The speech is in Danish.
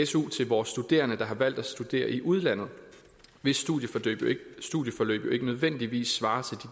su til vores studerende der har valgt at studere i udlandet hvis studieforløb jo ikke nødvendigvis svarer til